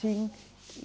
Sim.